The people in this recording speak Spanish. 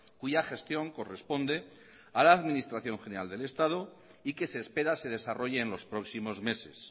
cuya gestión corresponde a la administración general del estado y que se espera se desarrolle en los próximos meses